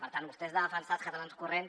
per tant vostès de defensar els catalans corrents